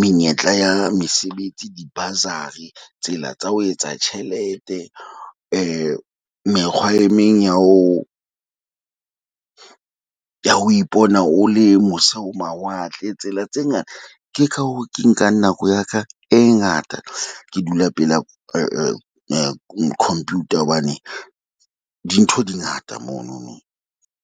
menyetla ya mesebetsi, di-bursary, tsela tsa ho etsa tjhelete mekgwa e meng ya ho ya ho ipona, o le mose ho mawatle tsela tse ngata. Ke ka hoo ke nkang nako ya ka e ngata ke dula pela computer hobane dintho di ngata mono no.